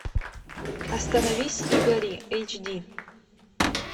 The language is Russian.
остановись и гори эйч ди